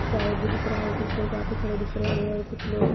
भी दिख रहा है कुछ लोग वहाँ पे खड़े दिख रहे है और कुछ लोग --